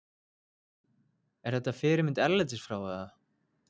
Er þetta fyrirmynd erlendis frá eða?